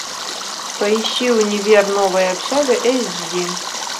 поищи универ новая общага эйч ди